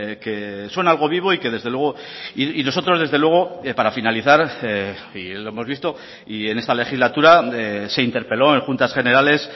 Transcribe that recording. que son algo vivo y que desde luego y nosotros desde luego para finalizar y lo hemos visto y en esta legislatura se interpeló en juntas generales